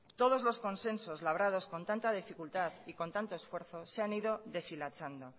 todos los consensos labrados con tanta dificultad y con tanto esfuerzo se han ido deshilachando